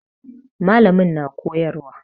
Mallamin na koyarwa.